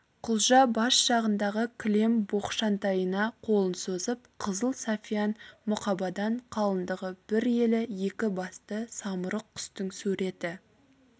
құлжа бас жағындағы кілем боқшантайына қолын созып қызыл сафьян мұқабадан қалыңдығы бір елі екі басты самұрық құстың суреті